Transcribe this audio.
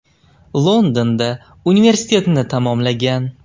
Londonda universitetni tamomlagan.